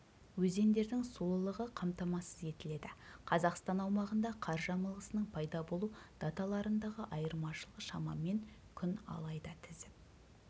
өзендердің сулылығы қамтамасыз етіледі қазақстан аумағында қар жамылғысының пайда болу даталарындағы айырмашылық шамамен күн алайда тізіп